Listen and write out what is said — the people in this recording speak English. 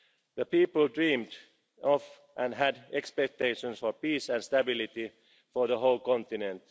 The people dreamed of, and had expectations for, peace and stability for the whole continent.